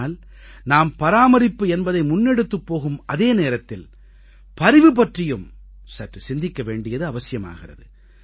ஆனால் நாம் பராமரிப்பு என்பதை முன்னெடுத்துப் போகும் அதே நேரத்தில் பரிவு பற்றியும் சற்று சிந்திக்க வேண்டியது அவசியமாகிறது